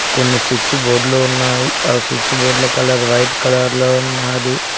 కొన్ని స్విచ్ బోర్డులో ఉన్నాయి అ స్విచ్ బోర్డుల కలర్ వైట్ కలర్ లో ఉన్నాది.